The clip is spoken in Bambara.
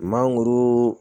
Mangoro